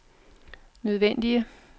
nødvendige